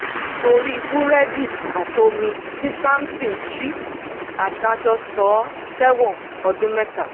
torí búrẹ́dì àti omi tí samson jí adájọ́ sọ ọ́ sẹ́wọ̀n ọdún mẹ́ta